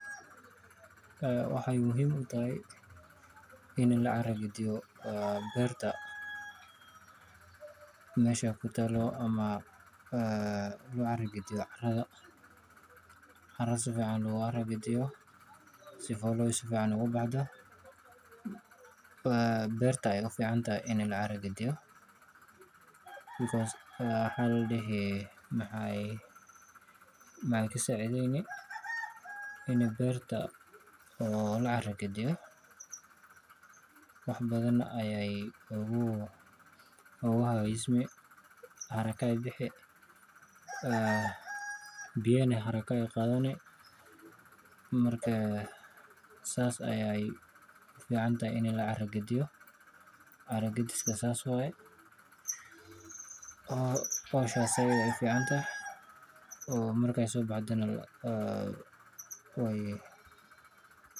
Waxay muhiim u tahay in la carra gadiyo beerta meesha ay ku taal, ama loo carra gediyo carra si fiican looga carra gediyo. Haddii uu si fiican ugu baxo, beerta ayay u fiicantahay in la carra gadiyo because maxay ka caawineysaa in beerta la carra gadiyo Haragga ayey bixisaa, biyana haragga way qaadataa. Marka sidaas ayay u fiicantahay in la carra gadiyo. Carra gadiska sidaas weeye oo bahashaas sidaas ayay u fiicantahay oo marka ay soo baxdana way...